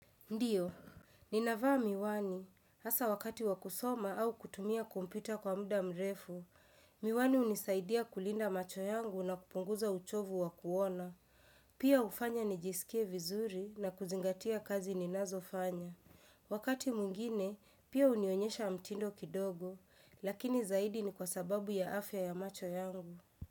Ndiyo, ninavaa miwani, hasa wakati wa kusoma au kutumia kompyuta kwa muda mrefu, miwani hunisaidia kulinda macho yangu na kupunguza uchovu wa kuona, pia hufanya nijisikie vizuri na kuzingatia kazi ninazofanya. Wakati mwingine, pia hunionyesha mtindo kidogo, lakini zaidi ni kwa sababu ya afya ya macho yangu.